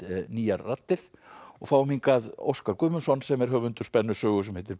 nýjar raddir og fáum hingað Óskar Guðmundsson sem er höfundur spennusögu sem heitir